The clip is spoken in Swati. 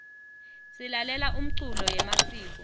silalela umculo yemasiko